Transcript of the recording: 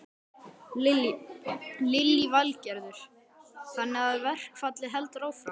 Lillý Valgerður: Þannig að verkfallið heldur áfram?